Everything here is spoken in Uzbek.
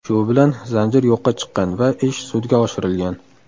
Shu bilan zanjir yo‘qqa chiqqan va ish sudga oshirilgan.